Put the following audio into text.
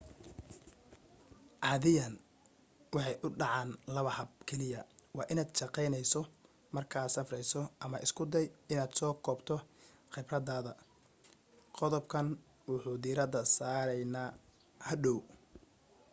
cadiyan waxay u dhacan laba hab keliya waa inad shaqeyneyso marka aad safreyso ama isku day in aad soo koobto qibradada qodob kan wuxuu dirada sareyna hadhow